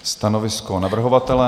Stanovisko navrhovatele?